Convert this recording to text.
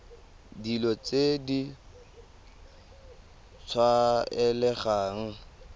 dilo tse di sa tlwaelegang